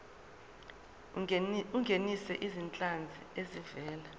ungenise izinhlanzi ezivela